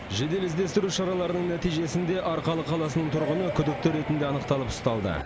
жедел іздестіру шараларының нәтижесінде арқалық қаласының тұрғыны күдікті ретінде анықталып ұсталды